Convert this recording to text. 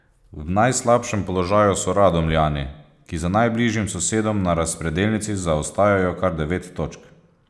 V najslabšem položaju so Radomljani, ki za najbližjim sosedom na razpredelnici zaostajajo kar devet točk.